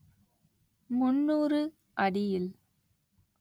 முந்நூறு அடியில்